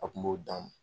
A kun b'o dan